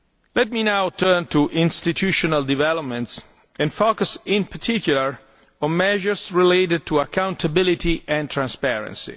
Let me now turn to institutional developments and focus in particular on measures related to accountability and transparency.